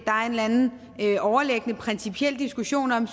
eller anden overliggende principiel diskussion om